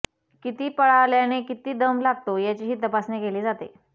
किती पळाल्याने किती दम लागतो याचीही तपासणी केली जाते